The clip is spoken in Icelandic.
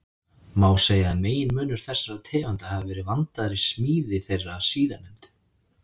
Má segja að meginmunur þessara tegunda hafi verið vandaðri smíð þeirra síðarnefndu.